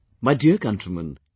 My dear countrymen,